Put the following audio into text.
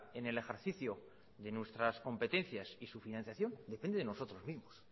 en el ejercicio de nuestras competencias y su financiación depende de nosotros mismos